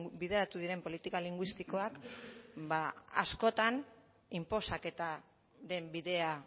bideratu diren politika linguistikoak ba askotan inposaketaren bidea